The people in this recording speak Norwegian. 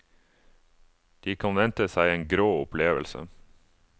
De kan vente seg en grå opplevelse.